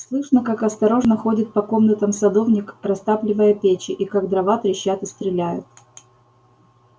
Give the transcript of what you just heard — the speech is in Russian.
слышно как осторожно ходит по комнатам садовник растапливая печи и как дрова трещат и стреляют